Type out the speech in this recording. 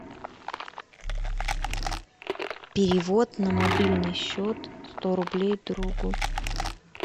перевод на мобильный счет сто рублей другу